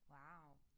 Wow